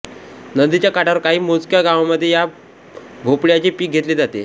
नदीच्या काठावर काही मोजक्या गावांमध्ये या भोपळ्याचे पीक घेतले जाते